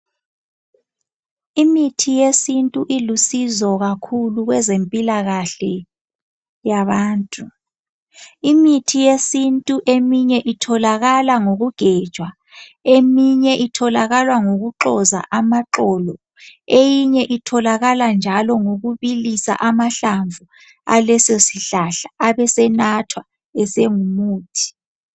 Imithi yesintu ilusizo kakhulu kwezempilakahle yabantu. Imithi yesintu eminye itholakala ngokugejwa, eminye itholakala ngokuxoza amaxolo eyinye njalo itholakala ngokubilisa amahlamvu alesosihlahla abesenathwa esengumuthi.